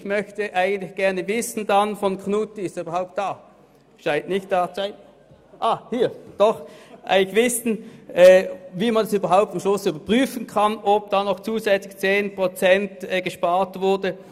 Ich möchte von Grossrat Knutti wissen, wie man am Schluss überhaupt überprüfen kann, ob da zusätzlich 10 Prozent gespart wurden.